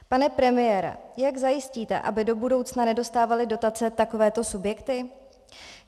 Pane premiére, jak zajistíte, aby do budoucna nedostávaly dotace takovéto subjekty?